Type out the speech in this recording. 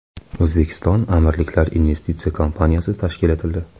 O‘zbekistonAmirliklar investitsiya kompaniyasi tashkil etildi.